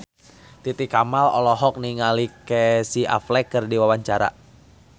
Titi Kamal olohok ningali Casey Affleck keur diwawancara